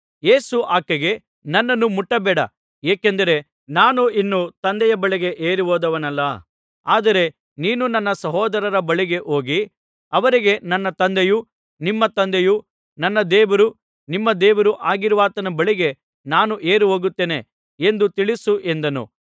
ಯೇಸು ಆಕೆಗೆ ನನ್ನನ್ನು ಮುಟ್ಟಬೇಡ ಏಕೆಂದರೆ ನಾನು ಇನ್ನೂ ತಂದೆಯ ಬಳಿಗೆ ಏರಿಹೋದವನಲ್ಲ ಆದರೆ ನೀನು ನನ್ನ ಸಹೋದರರ ಬಳಿಗೆ ಹೋಗಿ ಅವರಿಗೆ ನನ್ನ ತಂದೆಯೂ ನಿಮ್ಮ ತಂದೆಯೂ ನನ್ನ ದೇವರೂ ನಿಮ್ಮ ದೇವರೂ ಆಗಿರುವಾತನ ಬಳಿಗೆ ನಾನು ಏರಿಹೋಗುತ್ತೇನೆ ಎಂದು ತಿಳಿಸು ಎಂದನು